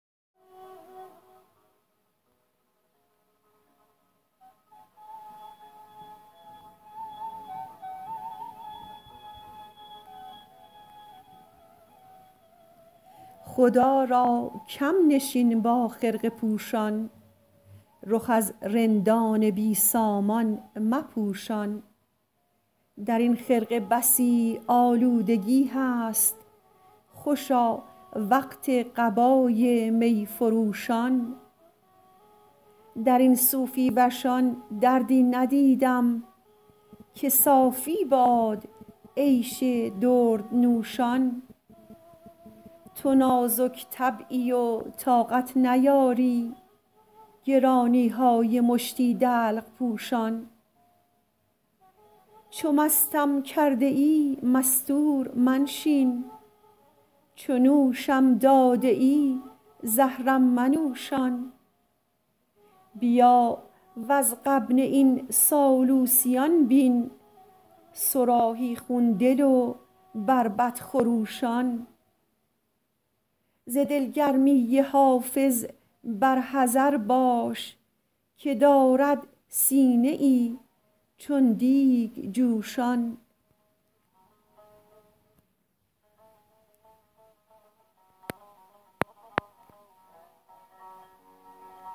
خدا را کم نشین با خرقه پوشان رخ از رندان بی سامان مپوشان در این خرقه بسی آلودگی هست خوشا وقت قبای می فروشان در این صوفی وشان دردی ندیدم که صافی باد عیش دردنوشان تو نازک طبعی و طاقت نیاری گرانی های مشتی دلق پوشان چو مستم کرده ای مستور منشین چو نوشم داده ای زهرم منوشان بیا وز غبن این سالوسیان بین صراحی خون دل و بربط خروشان ز دلگرمی حافظ بر حذر باش که دارد سینه ای چون دیگ جوشان